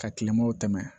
Ka kilemaw tɛmɛ